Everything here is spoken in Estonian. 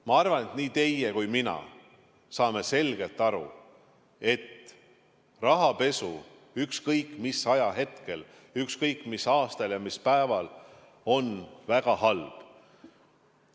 Ma arvan, et nii teie kui mina saame selgelt aru, et rahapesu on ükskõik mis ajahetkel, ükskõik mis aastal ja mis päeval väga halb.